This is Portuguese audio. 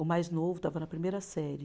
O mais novo estava na primeira série.